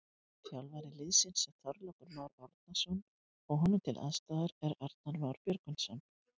Þjálfari liðsins er Þorlákur Már Árnason og honum til aðstoðar er Arnar Már Björgvinsson.